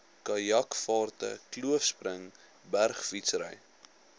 kajakvaarte kloofspring bergfietsry